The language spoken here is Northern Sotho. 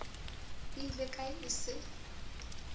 ile kae ge e se